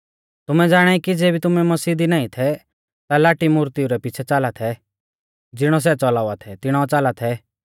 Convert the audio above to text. तुमै ज़ाणाई कि ज़ेबी तुमै मसीह दी नाईं थै ता लाटी मुर्तिऊ रै पिछ़ै च़ाला थै ज़िणौ सै च़लावा थै तिणौ च़ाला थै